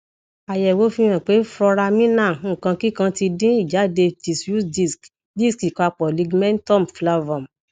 ayewo fihan pe foramina nkankikan ti dín ijade diffuse disk disk ipapo ligmentum flavum